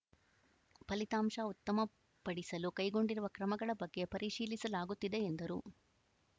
ಫಲಿತಾಂಶ ಉತ್ತಮಪಡಿಸಲು ಕೈಗೊಂಡಿರುವ ಕ್ರಮಗಳ ಬಗ್ಗೆ ಪರಿಶೀಲಿಸಲಾಗುತ್ತಿದೆ ಎಂದರು